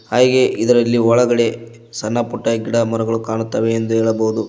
ಹಾಗೆ ಇದರಲ್ಲಿ ಒಳಗಡೆ ಸಣ್ಣ ಪುಟ್ಟ ಗಿಡಮರಗಳು ಕಾಣುತ್ತವೆ ಎಂದು ಹೇಳಬಹುದು.